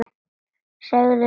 Segðu til þín!